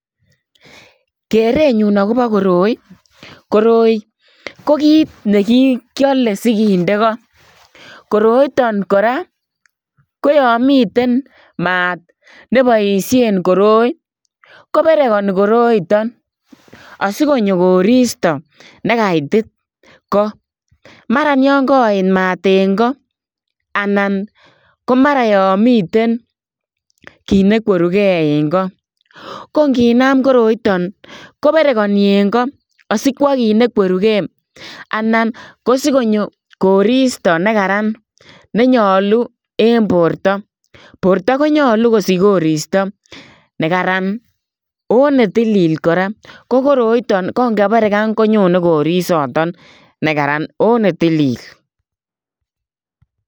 Kereet nyuun agobo koroi ii koroi ko kiit ne kiyale sigindei koo koroitaan kora ko yaan miteen maat nebaisheen koroi ko beraghani koroitaan asikonyoo koristo nekatoi Koo mara ko kayeet maat en Koo anan ko mara yaan miten kiit ne kwerugei en Koo ko nginam koroitaan ko beraghanii en Koo asikwaa koit ne kwerugei anan kosikonyo koristoi né karararn ne nyaluu en borto borto ko nyaluu kosiich koristoi né karararn oo ne tilil kora ko koroitaan ngo bereghan konyonei korisaatoon nekaraan ooh ne tilil.